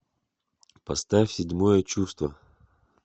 поставь седьмое чувство